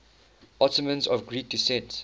ottomans of greek descent